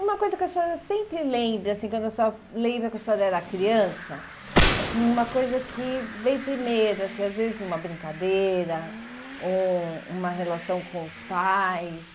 Uma coisa que a senhora sempre lembra, assim quando a senhora lembra que a senhora era criança, assim uma coisa que vem primeiro, assim às vezes uma brincadeira ou uma relação com os pais.